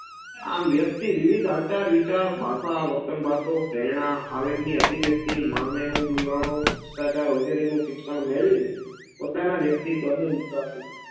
આમ વ્યક્તિ વિવિધ આચાર વિચાર, ભાષા, વર્તન વાતો, પ્રેરણા, આવેગ ની અભિવ્યક્તિ મનેવલણો, ભ્રસ્ટાચાર વગેરે નું શિક્ષણ મેળવી ને પોતાના વ્યતિત્વન